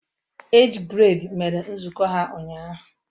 Age grade mere nzukọ ha ụnyahụ